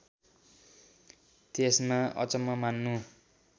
त्यसमा अचम्म मान्नु